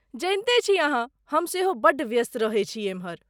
जनिते छी अहाँ, हम सेहो बड्ड व्यस्त रहैत छी एम्हर।